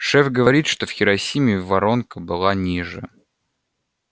шеф говорит что в хиросиме воронка была ниже